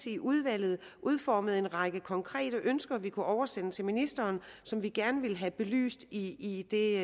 i udvalget udformede en række konkrete ønsker vi kunne oversende til ministeren og som vi gerne ville have belyst i i det